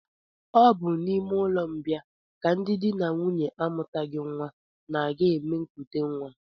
Ọ bụ n'ụlọmbịa ka ndị di na nwunye amụtaghị nnwa na-aga eme nkutenwa